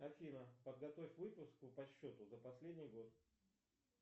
афина подготовь выписку по счету за последний год